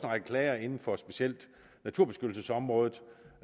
række klager inden for specielt naturbeskyttelsesområdet